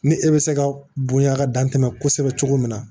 Ni e bɛ se ka bonya ka dan tɛmɛ kosɛbɛ cogo min na